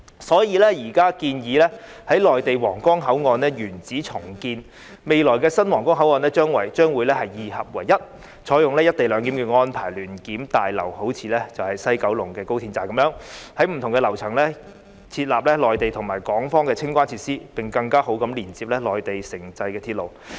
所以，現在建議在內地皇崗口岸的原址重建，未來的新皇崗口岸將會二合為一，採用"一地兩檢"安排，聯檢大樓便好像高鐵西九龍站般，在不同的樓層設立內地和港方的清關設施，並更好地連接內地城際鐵路。